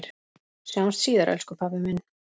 Sjáumst síðar, elsku pabbi minn.